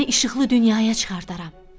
Səni işıqlı dünyaya çıxardaram.